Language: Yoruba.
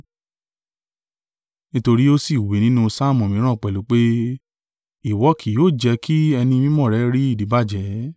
Nítorí ó sì wí nínú Saamu mìíràn pẹ̀lú pé, “ ‘Ìwọ kí yóò jẹ́ kí Ẹni Mímọ́ rẹ rí ìdíbàjẹ́.’